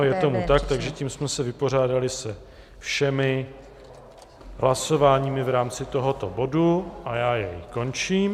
Ano, je tomu tak, takže tím jsme se vypořádali se všemi hlasováními v rámci tohoto bodu a já jej končím.